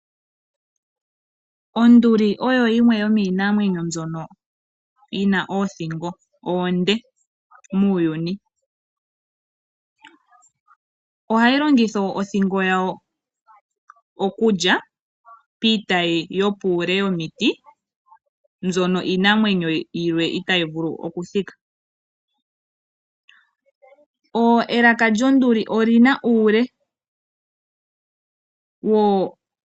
Onduli oyo yimwe yomiinamwenyo mbyono yina oothingo oonde muuyuni . Ohayi longitha othingo yawo okunapa omafo nenge komano ngoka omale. Ohayi monika momahala gagamenwa.